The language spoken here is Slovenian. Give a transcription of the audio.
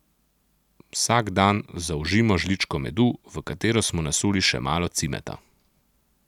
Vsak dan zaužijmo žličko medu, v katero smo nasuli še malo cimeta.